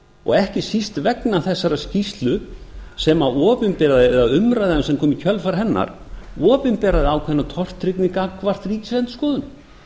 og ekki síst vegna þessarar skýrslu sem umræðan sem kom í kjölfar hennar opinberaði ákveðna tortryggni gagnvart ríkisendurskoðun